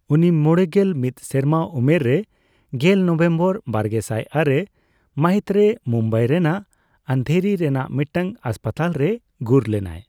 ᱩᱱᱤ ᱢᱚᱲᱮᱜᱮᱞ ᱢᱤᱛ ᱥᱮᱨᱢᱟ ᱩᱢᱮᱨ ᱨᱮ ᱜᱮᱞ ᱱᱚᱵᱷᱮᱢᱵᱚᱨ ᱵᱟᱨᱜᱮᱥᱟᱭ ᱟᱨᱮ ᱢᱟᱹᱦᱤᱛᱨᱮ ᱢᱩᱢᱵᱟᱭ ᱨᱮᱱᱟᱜ ᱟᱱᱫᱷᱮᱨᱤ ᱨᱮᱱᱟᱜ ᱢᱤᱫᱴᱟᱝ ᱦᱟᱥᱯᱟᱛᱟᱞᱨᱮᱭ ᱜᱩᱨ ᱞᱮᱱᱟᱭ ᱾